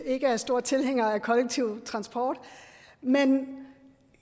er store tilhængere af kollektiv transport men